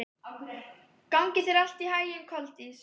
Gangi þér allt í haginn, Koldís.